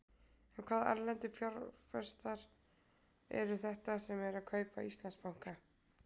En hvaða erlendu fjárfestar eru þetta sem eru að kaupa Íslandsbanka?